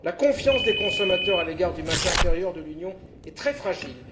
La confiance des consommateurs à l'égard du marché intérieur de l'Union est très fragile.